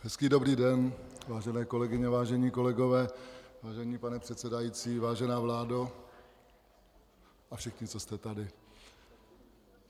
Hezký dobrý den, vážené kolegyně, vážení kolegové, vážený pane předsedající, vážená vládo a všichni, co jste tady.